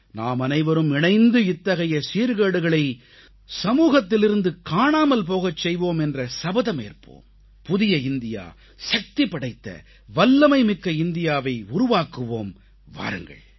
நாமனைவரும் இணைந்து இத்தகைய சீர்கேடுகளை சமூகத்திலிருந்து காணாமல் போகச் செய்வோம் என்ற சபதமேற்போம் புதிய இந்தியா சக்திபடைத்த வல்லமைமிக்க இந்தியாவை உருவாக்குவோம் வாருங்கள்